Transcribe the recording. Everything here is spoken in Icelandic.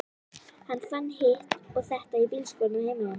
Hann fann hitt og þetta í bílskúrnum heima hjá þér.